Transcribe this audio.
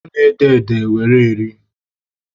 A na-ede ede were eri